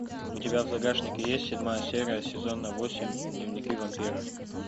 у тебя в загашнике есть седьмая серия сезона восемь дневники вампира